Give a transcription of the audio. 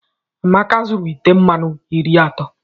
Amaka zuru ite mmanụ iri atọ.